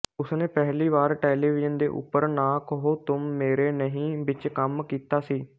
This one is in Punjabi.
ਉਸਨੇ ਪਹਿਲੀ ਵਾਰ ਟੈਲੀਵਿਜਨ ਦੇ ਉੱਪਰ ਨਾ ਕਹੋ ਤੁਮ ਮੇਰੇ ਨਹੀਂ ਵਿੱਚ ਕੰਮ ਕੀਤਾ ਸੀ